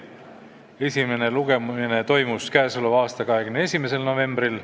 Esimene lugemine toimus 21. novembril.